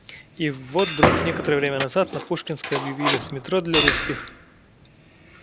и вот вдруг некоторое время назад на пушкинской объявились метро для русских